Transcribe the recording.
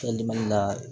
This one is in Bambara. la